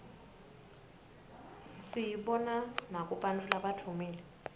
siyibona nakubantfu labadvumile